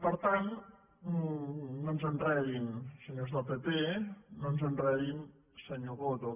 per tant no ens enredin senyors del pp no ens enredin senyor coto